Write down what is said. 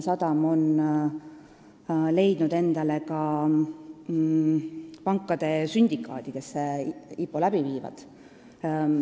Ka on teada pankade sündikaat, kes IPO läbi viib.